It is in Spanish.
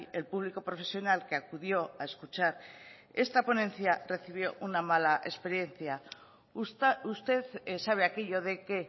el público profesional que acudió a escuchar esta ponencia recibió una mala experiencia usted sabe aquello de que